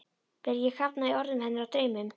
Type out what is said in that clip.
Vil ekki kafna í orðum hennar og draumum.